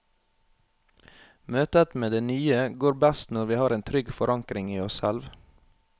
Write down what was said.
Møtet med det nye går best når vi har en trygg forankring i oss selv.